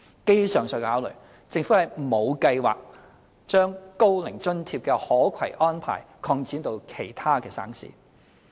基於上述考慮，政府沒有計劃將高齡津貼的可攜安排擴展至其他省市。